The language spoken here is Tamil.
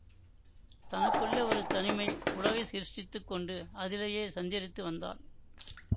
தனக்குள்ளே ஒரு தனிமை உலகை சிருஷ்டித்துக் கொண்டு அதிலேயே சஞ்சரித்து வந்தாள்